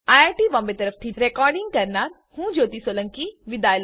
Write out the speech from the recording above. IIT Bombay તરફથી ભાષાંતર કરનાર હું કૃપાલી પરમાર વિદાય લઉં છું